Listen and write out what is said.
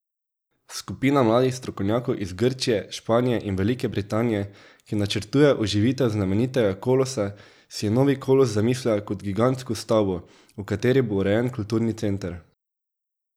Skupina mladih strokovnjakov iz Grčije, Španije in Velike Britanije, ki načrtuje oživitev znamenitega kolosa, si je novi kolos zamislila kot gigantsko stavbo, v kateri bo urejen kulturni center.